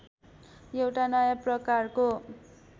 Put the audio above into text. एउटा नयाँ प्रकारको